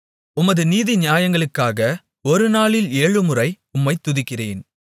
உமது நீதிநியாயங்களுக்காக ஒருநாளில் ஏழுமுறை உம்மைத் துதிக்கிறேன்